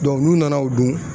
n'u nana o dun